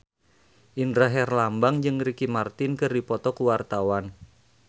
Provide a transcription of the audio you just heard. Indra Herlambang jeung Ricky Martin keur dipoto ku wartawan